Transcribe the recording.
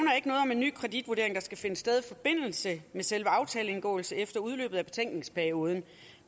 en ny kreditvurdering der skal finde sted i forbindelse med selve aftaleindgåelsen efter udløbet af betænkningsperioden